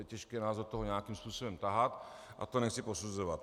Je těžké nás do toho nějakým způsobem tahat a to nechci posuzovat.